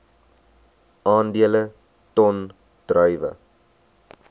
aandele ton druiwe